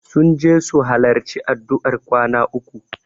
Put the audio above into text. Sun je su halarci addu'ar kwana uku.